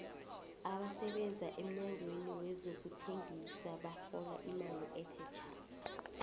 abasebenza emnyangweni wezokuthengisa barhola imali ethe thja